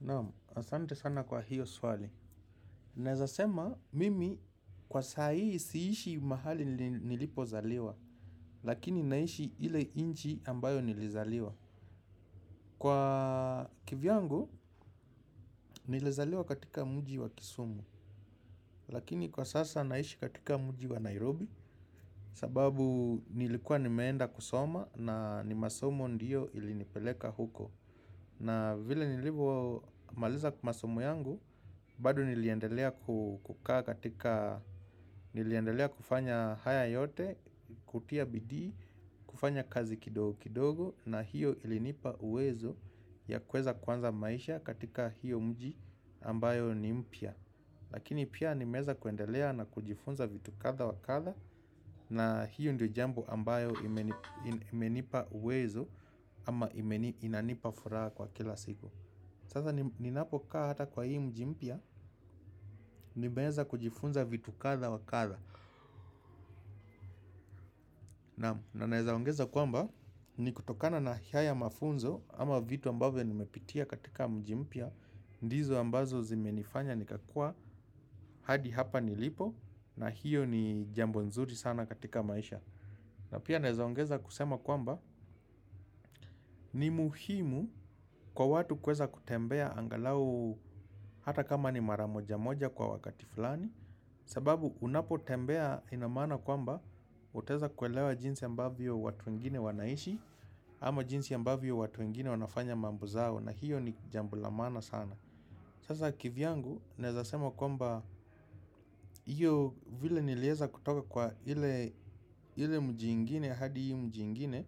Naamu, asante sana kwa hiyo swali nawezasema, mimi kwa saa hii siishi mahali nilipozaliwa. Lakini naishi ile inchi ambayo nilizaliwa. Kwa kivyangu, nilizaliwa katika mji wa kisumu. Lakini kwa sasa naishi katika mji wa Nairobi. Sababu nilikuwa nimeenda kusoma na masomo ndio ilinipeleka huko. Na vile nilivyo maliza masomo yangu. Bado niliendelea kufanya haya yote, kutia bidii, kufanya kazi kidogo kidogo na hiyo ilinipa uwezo ya kweza kuanza maisha katika hiyo mji ambayo ni mpya. Lakini pia nimeweza kuendelea na kujifunza vitu kadhaa wakadhaa na hiyo ndio jambo ambayo imenipa uwezo ama inanipa furaha kwa kila siku. Sasa ninapokaa hata kwa hii mji mpya nimeweza kujifunza vitu kadhaa wa kadhaa. Na naweza ongeza kwamba ni kutokana na hayo mafunzo ama vitu ambavyo nimepitia katika mji mpya. Ndizo ambazo zime nifanya nikakua hadi hapa nilipo na hiyo ni jambo nzuri sana katika maisha. Na pia naweza ongeza kusema kwamba ni muhimu kwa watu kuweza kutembea angalau hata kama ni maramoja moja kwa wakati fulani. Sababu unapo tembea inamaana kwamba utaweza kuelewa jinsi ambavyo watu wengine wanaishi. Ama jinsi ambavyo watu wengine wanafanya mambo zao. Na hiyo ni jambo la maana sana. Sasa kivyangu neweza sema kwamba iyo vile niliweza kutoka kwa iile mji ingine hadi hii mji ingine.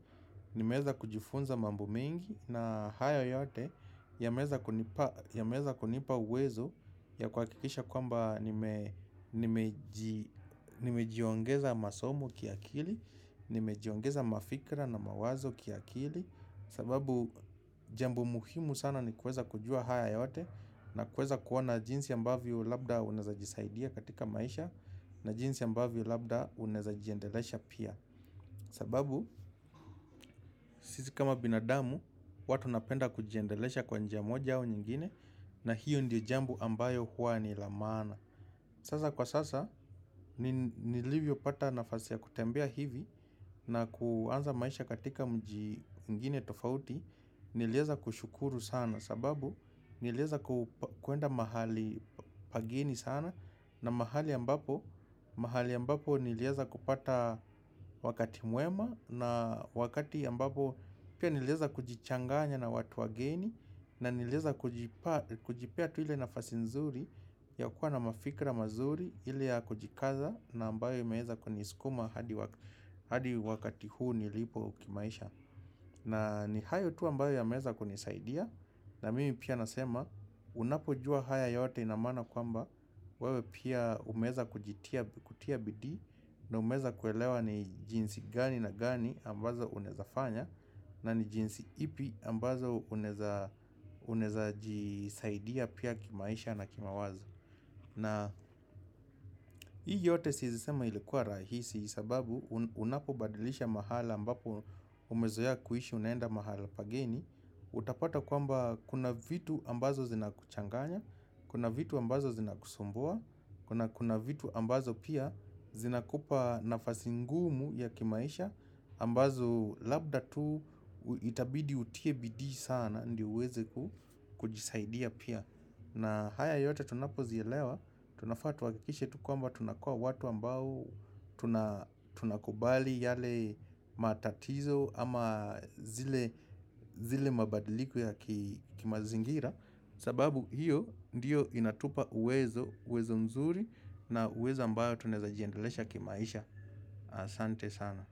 Nimeweza kujifunza mambo mengi na haya yote yameweza kunipa wezo ya kuha kikisha kwamba nimejiongeza masomo kiakili, nimejiongeza mafikra na mawazo kiakili sababu jambo muhimu sana ni kuweza kujua haya yote na kuweza kuona jinsi ambavyo labda unaweza jisaidia katika maisha na jinsi ambavyo labda unaweza jiendelesha pia sababu sisi kama binadamu watu wanapenda kujiendelesha kwa njia moja au nyingine na hiyo ndio jambo ambayo huwa ni la maana. Sasa kwa sasa nilivyo pata nafasi ya kutembea hivi na kuanza maisha katika mji mwigine tofauti niliweza kushukuru sana sababu niliweza kuenda mahali pageni sana na mahali ambapo niliweza kupata wakati mwema na wakati ambapo pia niliweza kujichanganya na watu wageni na niliweza kujipea tu ile nafasi nzuri ya kuwa na mafikra mazuri ile ya kujikaza na ambayo imeza kunisikuma hadi wakati huu nilipo kimaisha na ni hayo tu ambayo yameweza kunisaidia na mimi pia nasema unapo jua haya yote inamaana kwamba wewe pia umeweza kutia bidi na umeweza kuelewa ni jinsi gani na gani ambazo unawezafanya na ni jinsi ipi ambazo uneza jisaidia pia kimaisha na kimawazo. Na hii yote siwezi sema ilikuwa rahisi sababu unapo badilisha mahali ambapo umezoea kuishi unaenda mahala pageni. Utapata kwamba kuna vitu ambazo zinakuchanganya, kuna vitu ambazo zinakusumbua, kuna vitu ambazo pia zinakupa nafasi ngumu ya kimaisha ambazo labda tu itabidi utie bidiji sana ndio uweze kujisaidia pia. Na haya yote tunapo zielewa, tunafaa tuhakikishe tu kwamba tunakua watu ambao tunakubali yale matatizo ama zile mabadiliko ya ki mazingira. Sababu hiyo ndiyo inatupa uwezo, uwezo mzuri na uwezo ambao tunaeza jiendelesha kimaisha asante sana.